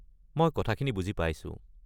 মই কথাখিনি বুজি পাইছো।